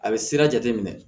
A bɛ sira jate minɛ